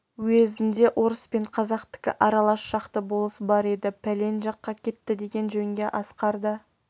уезінде орыс пен қазақтікі аралас шақты болыс бар еді пәлен жаққа кетті деген жөнге асқар да